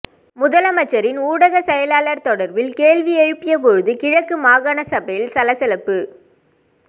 முதலமைச்சரின் ஊடகச் செயலாளர் தொடர்பில் கேள்வி எழுப்பியபோது கிழக்கு மாகாணசபையில் சலசலப்பு